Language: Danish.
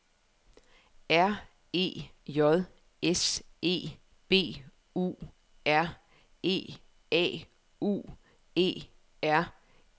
R E J S E B U R E A U E R N E